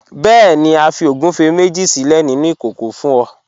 Bẹẹ̀ni, a fi ogúnfẹ méjì sílẹ̀ nínu ikókò fún ọ.